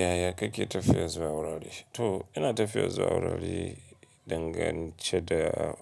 Yaya kake tafiya zuwa wurare? To ina tafiya zuwa wurare dangance da